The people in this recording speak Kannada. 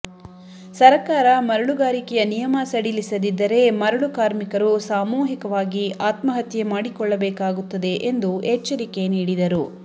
ಸರಕಾರ ಮರಳುಗಾರಿಕೆಯ ನಿಯಮ ಸಡಿಲಿಸದಿದ್ದರೆ ಮರಳು ಕಾರ್ಮಿಕರು ಸಾಮೂಹಿಕವಾಗಿ ಆತ್ಮಹತ್ಯೆ ಮಾಡಿಕೊಳ್ಳಬೇಕಾಗುತ್ತದೆ ಎಂದು ಎಚ್ಚರಿಕೆ ನೀಡಿದರು